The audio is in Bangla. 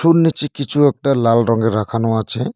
ওর নীচে কিছু একটা লাল রঙের রাখানো আছে।